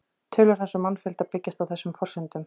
Tölur hans um mannfjölda byggjast á þessum forsendum.